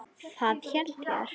Það held ég að.